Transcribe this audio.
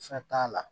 Fɛn t'a la